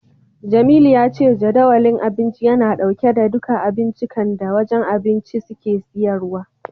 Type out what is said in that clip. Jamilu ya ce Jadawalin Abinci yana dauke da duka abincikan da wajen abinci suke siyarwa.